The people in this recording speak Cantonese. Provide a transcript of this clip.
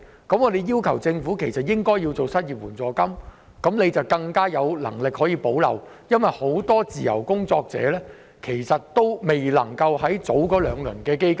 我們要求政府提供失業援助金，以發揮更大的補漏功能，因為很多自由工作者均未能受惠於現時的兩輪基金。